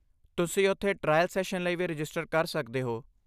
ਤੁਸੀਂ ਉੱਥੇ trial session ਲਈ ਵੀ ਰਜਿਸਟਰ ਕਰ ਸਕਦੇ ਹੋ।